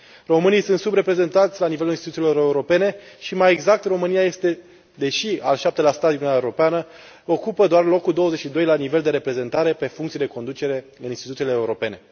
Românii sunt subreprezentați la nivelul instituțiilor europene și, mai exact, România, deși este al șaptelea stat din Uniunea Europeană, ocupă doar locul 22 la nivel de reprezentare pe funcții de conducere în instituțiile europene.